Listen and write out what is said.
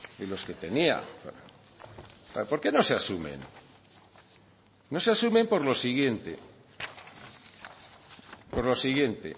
de los que tenía por qué no se asumen no se asumen por lo siguiente por lo siguiente